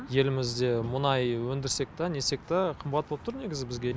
елімізде мұнай өндірсек та нетсек та қымбат боп тұр негізі бізге